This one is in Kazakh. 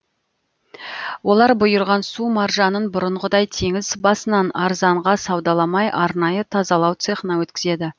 олар бұйырған су маржанын бұрынғыдай теңіз басынан арзанға саудаламай арнайы тазалау цехына өткізеді